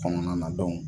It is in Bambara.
Kɔnɔna na